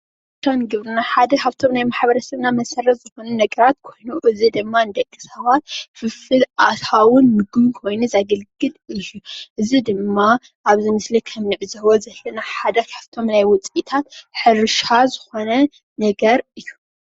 ከም ግብርና ሓደ ካብቶም ናይ ማሕበረ ሰብና መሰረት ዝኾኑ ነገራት ኮይኑ እዚ ድማ ንደቂ ሰባት ፍልፍል ኣታውን ምግብን ኮይኑ ዘገልግል እዩ እዚ ድማ ኣብ ናይ ሰብ ስምዒት ካብ ዝህቦ ሓደ ካብቶም ናይ ውፅኢታት ሕርሻ ዝኾነ ነገር እዩ